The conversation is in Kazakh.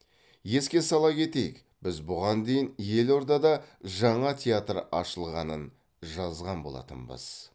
еске сала кетейік біз бұған дейін елордада жаңа театр ашылғанын жазған болатынбыз